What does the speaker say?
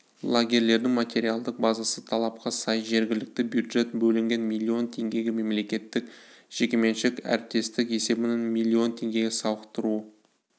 лагерьлердің материалдық базасы талапқа сай жергілікті бюджеттен бөлінген миллион теңгеге мемлекеттік-жекеменшік әріптестік есебінен миллион теңгеге сауықтыру